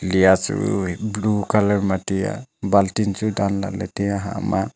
liya chu wai blue colour ma tai a baltin chu tan lah ley tai a.